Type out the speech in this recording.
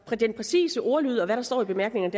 den præcise ordlyd og hvad der står i bemærkningerne